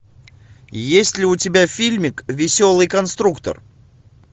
есть ли у тебя фильмик веселый конструктор